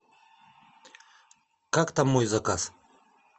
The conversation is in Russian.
как там мой заказ